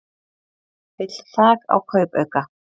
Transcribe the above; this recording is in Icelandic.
Vill þak á kaupauka